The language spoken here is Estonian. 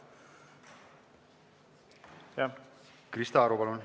Krista Aru, palun!